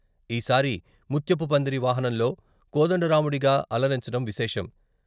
ఈసారి ముత్యపు పందిరి వాహనంలో కోదండరాముడిగా అలరించడం విశేషం.